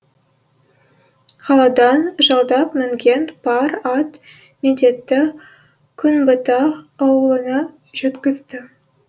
қаладан жалдап мінген пар ат медетті күн бата ауылына жеткізді